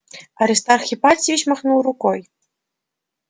аристарх ипатьевич махнул рукой